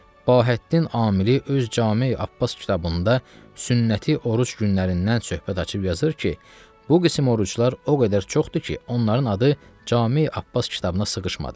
Bahəddin Amili öz Cami-i Abbas kitabında sünnəti oruc günlərindən söhbət açıb yazır ki, bu qisim oruclar o qədər çoxdur ki, onların adı Cami-i Abbas kitabına sığışmadı.